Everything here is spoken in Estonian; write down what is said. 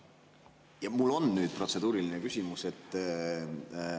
Jah, mul on protseduuriline küsimus.